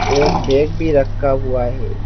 एक बैग भी रखा हुआ है।